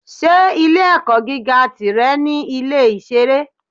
Ṣé ilé-ẹ̀kọ́ gíga tìrẹ ní Ilé-ìṣeré?